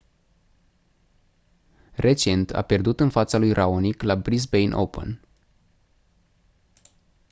recent a pierdut în fața lui raonic la brisbane open